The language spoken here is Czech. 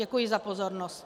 Děkuji za pozornost.